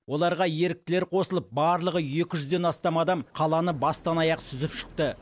оларға еріктілер қосылып барлығы екі жүзден астам адам қаланы бастан аяқ сүзіп шықты